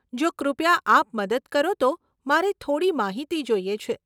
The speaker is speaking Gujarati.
જો કૃપયા આપ મદદ કરો તો, મારે થોડી માહિતી જોઈએ છે.